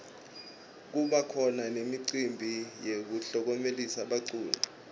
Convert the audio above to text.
kubakhona nemicimbi yekuklomelisa baculi